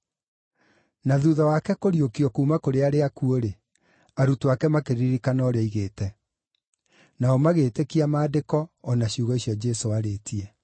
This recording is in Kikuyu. Na thuutha wake kũriũkio kuuma kũrĩ arĩa akuũ-rĩ, arutwo ake makĩririkana ũrĩa oigĩte. Nao magĩĩtĩkia Maandĩko, o na ciugo icio Jesũ aarĩtie.